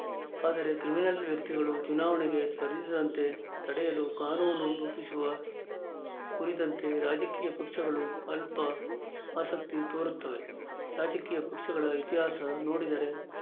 ಆದರೆ ಕ್ರಿಮಿನಲ್‌ ವ್ಯಕ್ತಿಗಳು ಚುನಾವಣೆಗೆ ಸ್ಪರ್ಧಿಸದಂತೆ ತಡೆಯಲು ಕಾನೂನು ರೂಪಿಸುವ ಕುರಿತಂತೆ ರಾಜಕೀಯ ಪಕ್ಷಗಳು ಅಲ್ಪ ಆಸಕ್ತಿ ತೋರುತ್ತವೆ ರಾಜಕೀಯ ಪಕ್ಷಗಳ ಇತಿಹಾಸ ನೋಡಿದರೆ